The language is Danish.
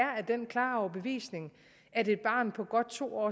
den klare overbevisning at et barn på godt to år